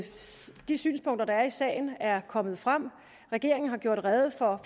de synspunkter der er i sagen er kommet frem regeringen har gjort rede for